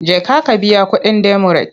Jeka ka biya kuɗin demurej!